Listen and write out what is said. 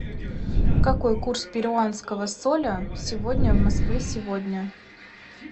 какой курс перуанского соля сегодня в москве сегодня